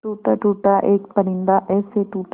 टूटा टूटा एक परिंदा ऐसे टूटा